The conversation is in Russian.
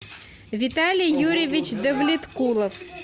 виталий юрьевич давлеткулов